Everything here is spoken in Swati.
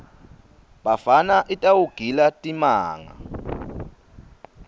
bafana itawugila timanga